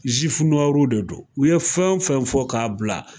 Zifu de don, u ye fɛn o fɛn fɔ k'a bila